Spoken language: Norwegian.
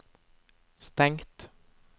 stengt